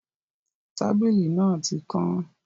Tábìlì náà tí kán